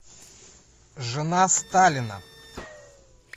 жена сталина